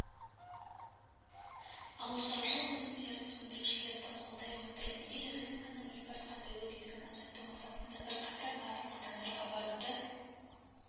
ауылшаруашылық өнімдерін өндірушілерді қолдай отырып ел рыногының импортқа тәуелділігін азайту мақсатында бірқатар батыл қадамдарға баруды